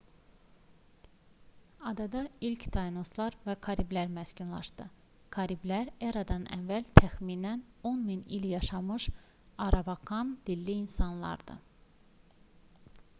adada ilk tainoslar və kariblilər məskunlaşdı. kariblilər e.ə təxminən 10000 il yaşamış aravakan-dilli insanlardı